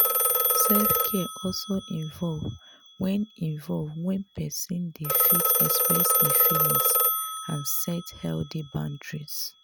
self care also involve when involve when person dey fit express im feelings and set healthy boundaries